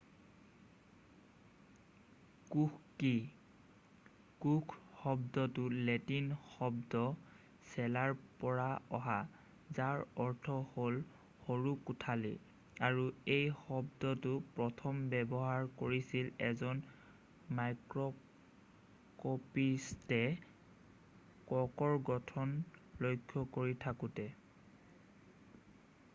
কোষ কি কোষ শব্দটো লেটিন শব্দ চেলা'ৰ পৰা অহা যাৰ অৰ্থ হ'ল সৰু কোঠালি' আৰু এই শব্দটো প্ৰথম ব্যৱহাৰ কৰিছিল এজন মাইক্ৰকঁপিষ্টয়ে কৰ্কৰ গঠন লক্ষ্য কৰি থাকোতে